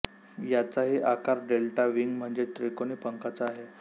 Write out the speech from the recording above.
याचाही आकार delta wing म्हणजे त्रिकोनी पंखाचा आहे